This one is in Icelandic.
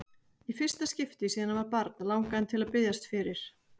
Í fyrsta skipti síðan hann var barn langaði hann til að biðjast fyrir.